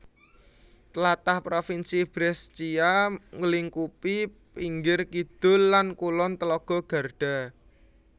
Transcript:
Tlatah Provinsi Brescia nglingkupi pinggir kidul lan kulon telaga Garda